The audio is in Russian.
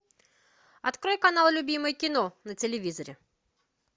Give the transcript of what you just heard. открой канал любимое кино на телевизоре